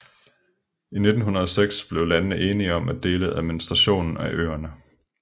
I 1906 blev landene enige om at dele administrationen af øerne